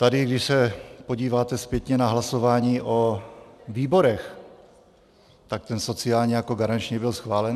Tady, když se podíváte zpětně na hlasování o výborech, tak ten sociální jako garanční byl schválen.